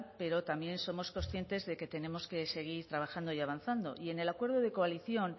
pero también somos conscientes de que tenemos que seguir trabajando y avanzando y en el acuerdo de coalición